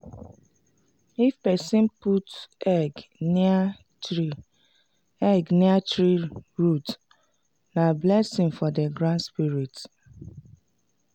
if person put egg near tree egg near tree root na blessing for the ground spirit.